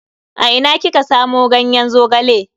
A ina kika samu ganyen Zogale?